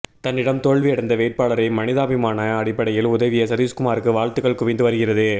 தன்னிடம் தோல்வி அடைந்த வேட்பாளரை மனிதாபிமான அடிப்படையில் உதவிய சதீஷ்குமாருக்கு வாழ்த்துக்கள் குவிந்து வருகிறது